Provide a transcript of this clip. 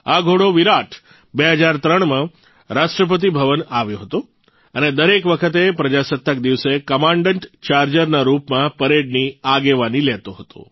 આ ઘોડો વિરાટ ૨૦૦૩માં રાષ્ટ્રપતિભવન આવ્યો હતો અને દરેક વખતે પ્રજાસત્તાક દિવસે કમાન્ડન્ટ ચાર્જરના રૂપમાં પરેડની આગેવાની લેતો હતો